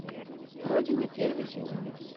родина первый сезон